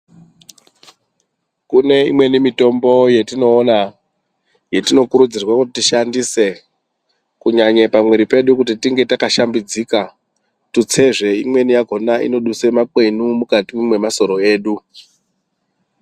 Kune imweni mitombo yatinoona yatinokurudzirwa kuti tishandise kunyanya pamwiri pedu Pange pakashambidzika tutse zve imweni yakona inodusa makwenu mukati memasoro edu.